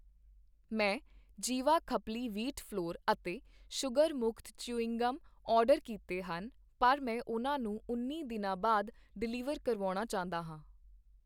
ਮੈਂ Jiwa khapli wheat flour ਅਤੇ sugar ਮੁਕਤ ਚਿਊਇੰਗ ਗਮ ਆਰਡਰ ਕੀਤੇ ਹਨ ਪਰ ਮੈਂ ਉਹਨਾਂ ਨੂੰ ਉੱਨੀ ਦਿਨਾਂ ਬਾਅਦ ਡਿਲੀਵਰ ਕਰਵਾਉਣਾ ਚਾਹੁੰਦਾ ਹਾਂ